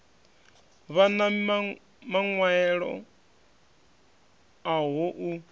vhan a maṅwaelo aho u